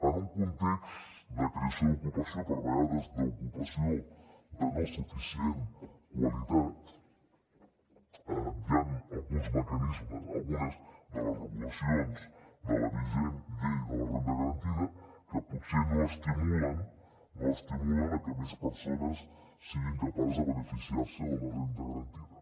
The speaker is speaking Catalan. en un context de creació d’ocupació però a vegades d’ocupació de no suficient qualitat hi han alguns mecanismes algunes de les regulacions de la vigent llei de la renda garantida que potser no estimulen a que més persones siguin capaces de beneficiar se de la renda garantida